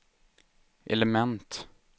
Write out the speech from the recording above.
element